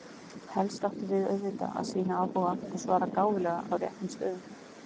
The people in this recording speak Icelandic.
Helst áttum við auðvitað að sýna áhuga og svara gáfulega á réttum stöðum.